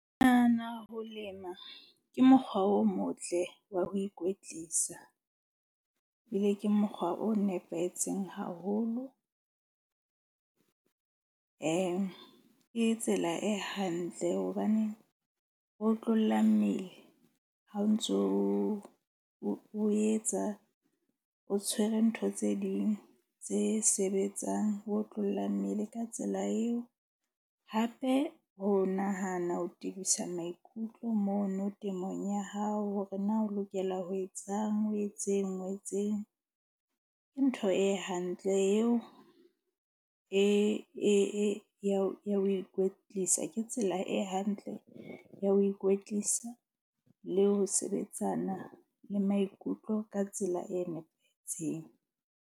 Ke nahana ho lema ke mokgwa o motle wa ho ikwetlisa. Ebile ke mokgwa o nepahetseng haholo. Ke tsela e hantle hobane ho otlolla mmele ha o ntso o etsa o tshwere ntho tse ding tse sebetsang ho otlolla mmele ka tsela eo. Hape ho nahana ho tibisa maikutlo mono temong ya hao hore na o lokela ho etsang o etseng o etseng. Ke ntho e hantle eo e ya ho ikwetlisa. Ke tsela e hantle ya ho ikwetlisa le ho sebetsana le maikutlo ka tsela e nepahetseng.